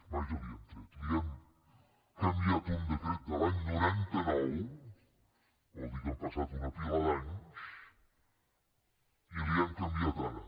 vaja li hem tret li hem canviat un decret de l’any noranta nou que vol dir que han passat una pila d’anys i li hem canviat ara